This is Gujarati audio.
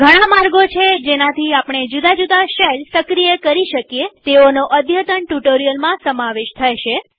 ઘણા માર્ગો છે જેનાથી આપણે જુદા જુદા શેલ્સ સક્રિય કરી શકીએતેઓનો અદ્યતન ટ્યુ્ટોરીઅલમાં સમાવેશ થશે